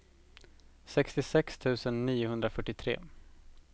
sextiosex tusen niohundrafyrtiotre